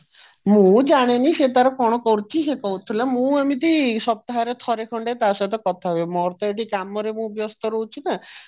ମୁଁ ଜାଣିନି ସେ ତାର କଣ କରୁଛି ସେ କହୁଥିଲା ମୁଁ ଏମିତି ସପ୍ତାହରେ ଥରେ ଖଣ୍ଡେ ତା ସହିତ କଥା ହୁଏ ମୋର ତ ଏଇଠି କାମରେ ମୁଁ ବ୍ୟସ୍ତ ରହୁଛି ନା